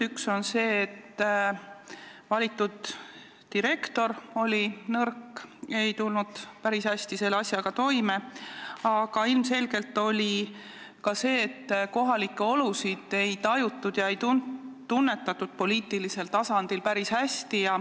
Üks on see, et valitud direktor oli nõrk, ei tulnud päris hästi asjakorraldusega toime, aga ilmselge oli ka see, et kohalikke olusid ei tajutud poliitilisel tasandil päris hästi.